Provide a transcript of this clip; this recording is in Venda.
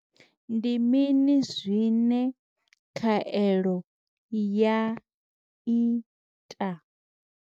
Ndi mini zwine khaelo ya ita?